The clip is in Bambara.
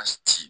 ci